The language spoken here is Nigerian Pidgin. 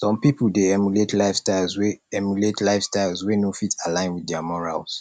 some pipo dey emulate lifestyles wey emulate lifestyles wey no fit align with their morals